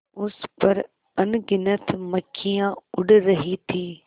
उस पर अनगिनत मक्खियाँ उड़ रही थीं